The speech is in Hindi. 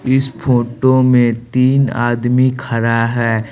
इस फोटो में तीन आदमी खड़ा है।